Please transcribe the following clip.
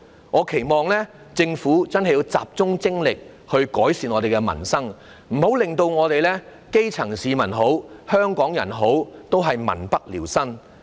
我期望政府真的要集中精力改善民生，不要令基層市民或香港人民不聊生。